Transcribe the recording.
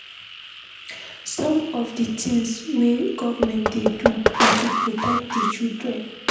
Some of di tins wey government dey do na to protect di citizens.